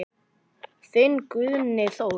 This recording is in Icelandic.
Þinn Guðni Þór.